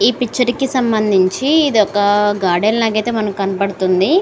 ఈ పిక్చర్ కి సంబంధించి ఇదొక గార్డెన్ లాగా అయితే మనకి కనపడుతుంది.